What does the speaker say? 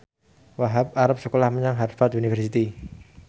Wahhab arep sekolah menyang Harvard university